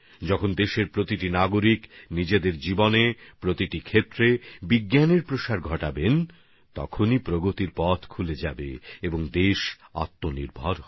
যখন দেশের সমস্ত নাগরিক নিজেদের জীবনে বিজ্ঞানের প্রসার ঘটাবে প্রতিটি ক্ষেত্রে করবে তখন অগ্রগতির পথও খুলে যাবে এবং দেশ আত্মনির্ভর হবে